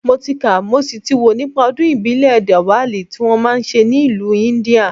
Mo ti kà mo sì ti wò nípa Ọdún ìbílẹ̀ DIWALI tí wọ́n máa ń ṣe ní ìlú India